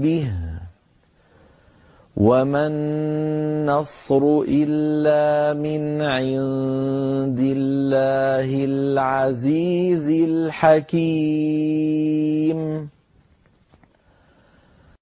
بِهِ ۗ وَمَا النَّصْرُ إِلَّا مِنْ عِندِ اللَّهِ الْعَزِيزِ الْحَكِيمِ